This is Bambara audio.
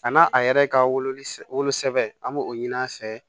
A n'a a yɛrɛ ka wolo solo sɛbɛ an b'o ɲini a fɛ